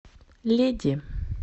леди